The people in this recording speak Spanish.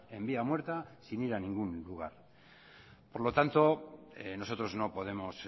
en vía muerta sin ir a ningún lugar por lo tanto nosotros no podemos